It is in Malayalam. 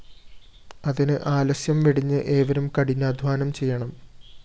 അതിന് ആലസ്യം വെടിഞ്ഞ് ഏവരും കഠിനാധ്വാനം ചെയ്യണം